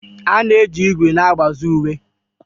A na-eji ígwè na-agbazi uwe.